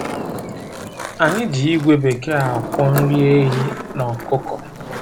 Anyị ji ígwè bekee akwọ nri ehi na ọkụkọ.